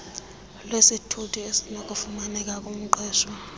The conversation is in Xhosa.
lwesithuthi esinokufumaneka kumqeshwa